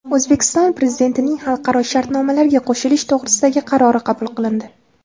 O‘zbekiston Prezidentining xalqaro shartnomalarga qo‘shilish to‘g‘risidagi qarori qabul qilindi.